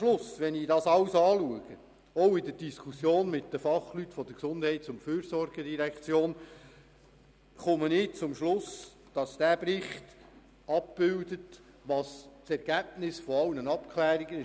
Schliesslich bin ich nach der Diskussion mit Fachleuten der GEF zum Schluss gekommen, dass dieser Bericht das Ergebnis aller Abklärungen abbildet.